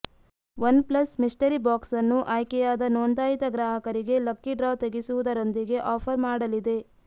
OnePlus mystery box ಅನ್ನು ಆಯ್ಕೆಯಾದ ನೋಂದಾಯಿತ ಗ್ರಾಹಕರಿಗೆ ಲಕ್ಕಿ ಡ್ರಾ ತೆಗೆಸುವುದರೊಂದಿಗೆ ಆಫರ್ ಮಾಡಲಿದೆ